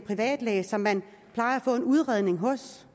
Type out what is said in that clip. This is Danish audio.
læge som man plejer at få en udredning hos